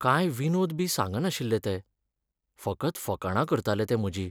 कांय विनोद बी सांगनाशिल्लें तें, फकत फकाणां करतालें तें म्हजीं.